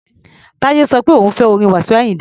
Táyé sọ pé òun ò fẹ́ orin Wasiu Ayinde.